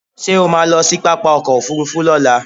Ṣé o ma lọ sí pápá ọkò òfurufú ni ọ̀la?